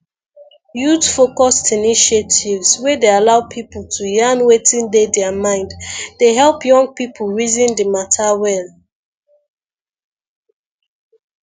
youthfocused initiatives wey dey allow people to yarn wetin dey their mind dey help young people reason di matter well